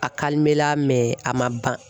A la mɛ a man ban